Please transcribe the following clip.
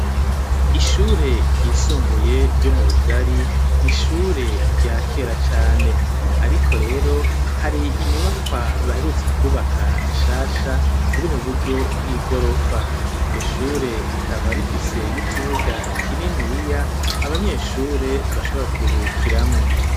Ishure ryisumbuye ryo murugari ni ishure rya kera cane, ariko rero hari inyubakwa baherutse kubaka nshasha ziri mu buryo bw'i gorofa iryo shure rikaba rifise n'ikibuga kininiya abanyeshure bashobora kuruhukiramwo.